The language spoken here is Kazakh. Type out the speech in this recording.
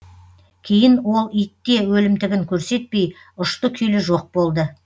кейін ол итте өлімтігін көрсетпей ұшты күйлі жоқ болды